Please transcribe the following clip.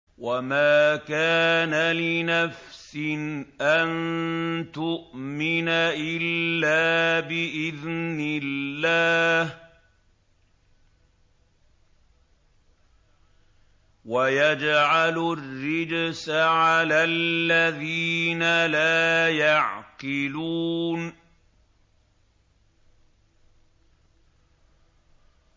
وَمَا كَانَ لِنَفْسٍ أَن تُؤْمِنَ إِلَّا بِإِذْنِ اللَّهِ ۚ وَيَجْعَلُ الرِّجْسَ عَلَى الَّذِينَ لَا يَعْقِلُونَ